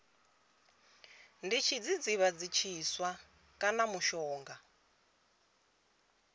ndi tshidzidzivhadzi tshiswa kana mushonga